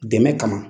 Dɛmɛ kama